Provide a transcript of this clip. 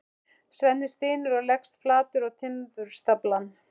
Svenni stynur og leggst flatur á timburstaflann.